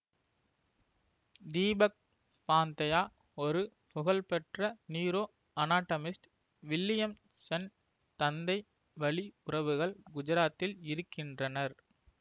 தீபக் பாந்தயா ஒரு புகழ்பெற்ற neuroanatomist Williamson தந்தை வழி உறவுகள் குஜராத்தில் இருக்கின்றனர்